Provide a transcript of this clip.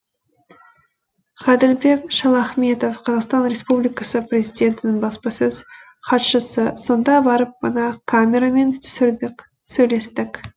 ғаділбек шалахметов қазақстан республикасы президентінің баспасөз хатшысы сонда барып мына камерамен түсірдік сөйлестік